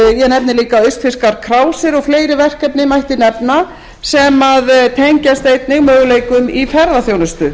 ég nefni líka austfirskar krásir og fleiri verkefni mætti nefna sem tengjast einnig möguleikum í ferðaþjónustu